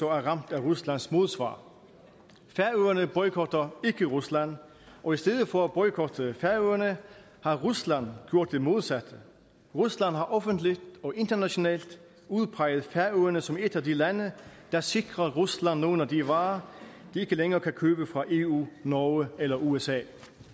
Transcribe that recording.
ramt af ruslands modsvar færøerne boykotter ikke rusland og i stedet for at boykotte færøerne har rusland gjort det modsatte rusland har offentligt og internationalt udpeget færøerne som et af de lande der sikrer rusland nogle af de varer de ikke længere kan købe fra eu norge eller usa